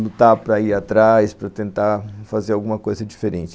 lutar para ir atrás, para tentar fazer alguma coisa diferente.